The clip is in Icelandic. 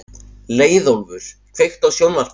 Leiðólfur, kveiktu á sjónvarpinu.